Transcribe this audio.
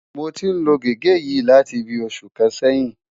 Mo ti ń lo gègé yìí láti bíi oṣù kan sẹ́yìn